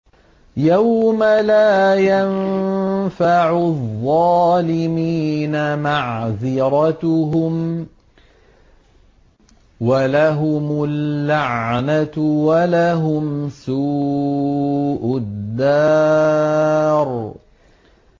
يَوْمَ لَا يَنفَعُ الظَّالِمِينَ مَعْذِرَتُهُمْ ۖ وَلَهُمُ اللَّعْنَةُ وَلَهُمْ سُوءُ الدَّارِ